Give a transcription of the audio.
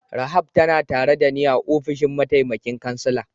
Rahab tana tare da ni a'ofishin mataimakin kansila.